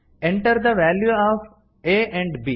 enter the value of a and B